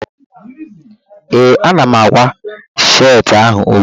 Ee, ana m ákwá sheetị ahụ ugbua